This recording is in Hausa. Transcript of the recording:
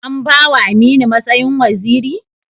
An ba wa Aminu matsayin waziri?